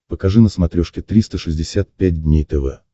покажи на смотрешке триста шестьдесят пять дней тв